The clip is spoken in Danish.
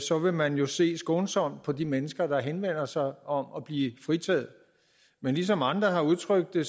så vil man jo se skånsomt på de mennesker der henvender sig om at blive fritaget men ligesom andre har udtrykt det